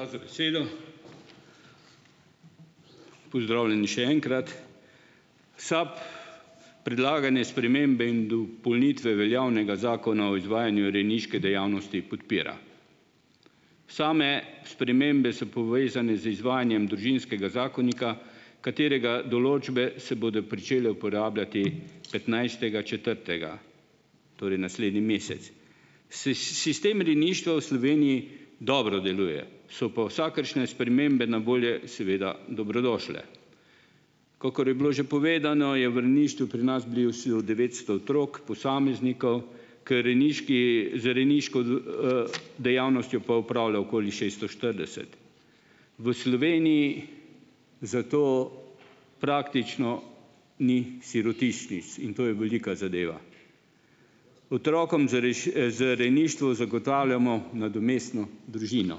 Hvala za besedo. Pozdravljeni še enkrat. SAB predlagane spremembe in dopolnitve javnega Zakona o izvajanju rejniške dejavnosti podpira. Same spremembe so povezane z izvajanjem družinskega zakonika, katerega določbe se bodo pričele uporabljati petnajstega četrtega. Torej naslednji mesec. sistem rejništva v Sloveniji dobro deluje. So pa vsakršne spremembe na voljo, seveda, dobrodošle. Kakor je bilo že povedano je v rejništvu pri nas devetsto otrok, posameznikov, k rejniški, z rejniško, dejavnostjo pa opravlja okoli šeststo štirideset. V Sloveniji zato praktično ni sirotišnic . In to je velika zadeva. Otrokom z z rejništvom zagotavljamo nadomestno družino.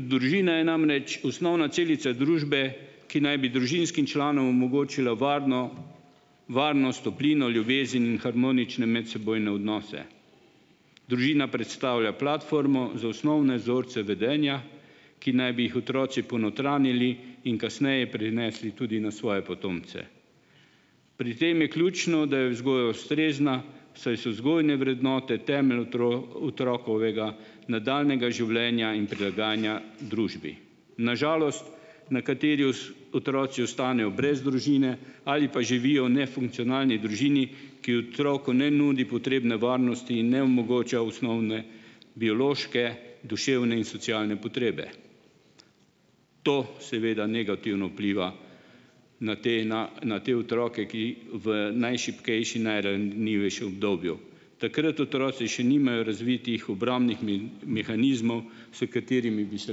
družina je namreč osnovna celica družbe, ki naj bi družinskim članom omogočila varno, varnost, toplino, ljubezen in harmonične medsebojne odnose. Družina predstavlja platformo za osnovne vzorce vedenja, ki naj bi jih otroci ponotranjili in kasneje prinesli tudi na svoje potomce. Pri tem je ključno, da je vzgoja ustrezna, saj so vzgojne vrednote temelj otrokovega nadaljnjega življenja in prilagajanja družbi. Na žalost nekateri otroci ostanejo brez družine ali pa živijo v nefunkcionalni družini, ki otroku ne nudi potrebne varnosti in ne omogoča osnovne biološke, duševne in socialne potrebe. To seveda negativno vpliva na te na, na te otroke, ki v najšibkejšem, najranljivejšem obdobju. Takrat otroci še nimajo razvitih obrambnih mehanizmov, s katerimi bi se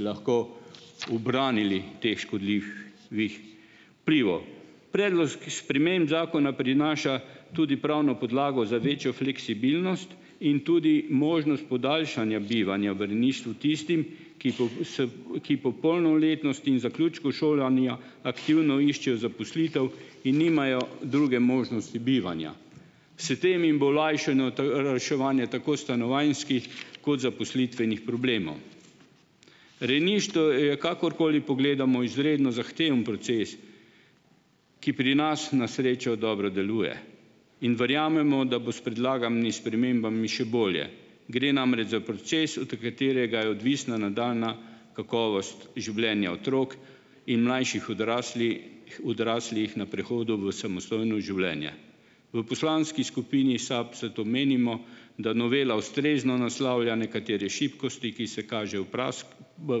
lahko ubranili teh škodlji- vih vplivov. Predlog sprememb zakona prinaša tudi pravno podlago za večjo fleksibilnost in tudi možnost podaljšanja bivanja v rejništvu tistim, ki , ki po polnoletnosti in zaključku šolanja aktivno iščejo zaposlitev in nimajo druge možnosti bivanja. S tem jim bo olajšano reševanje tako stanovanjskih kot zaposlitvenih problemov. Rejništvo je, kakorkoli pogledamo, izredno zahteven proces, ki pri nas na srečo dobro deluje. In verjamemo, da bo s predlaganimi spremembami še bolje. Gre namreč za proces, od katerega je odvisna nadaljnja kakovost življenja otrok in mlajših odraslih na prehodu v samostojno življenje. V poslanski skupini SAB zato menimo, da novela ustrezno naslavlja nekatere šibkosti, ki se kažejo v v,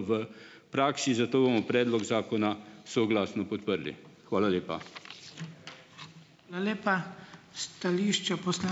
v praksi, zato bomo predlog zakona soglasno podprli. Hvala lepa. Hvala lepa. Stališče ...